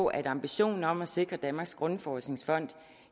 at ambitionen om at sikre danmarks grundforskningsfond